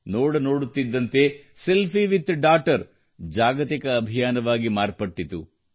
ನೋಡ ನೋಡುತ್ತಿದ್ದಂತೆ selfie with daughter ಜಾಗತಿಕ ಅಭಿಯಾನವಾಗಿ ಮಾರ್ಪಟ್ಟಿತು